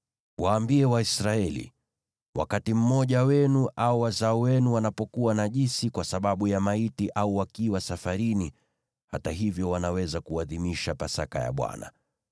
“Waambie Waisraeli: ‘Wakati mmoja wenu au wazao wenu wanapokuwa najisi kwa sababu ya maiti au wakiwa safarini, hata hivyo wanaweza kuadhimisha Pasaka ya Bwana .